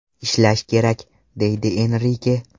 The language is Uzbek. Ishlash kerak”, deydi Enrike.